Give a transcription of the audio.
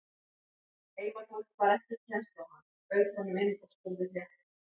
Heimafólk bar ekki kennsl á hann, bauð honum inn og spurði frétta.